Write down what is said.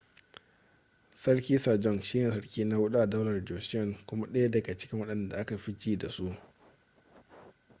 sarki sajong shi ne sarki na huɗu a daular joseon kuma ɗaya daga cikin waɗanda aka fi ji da su